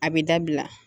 A bɛ dabila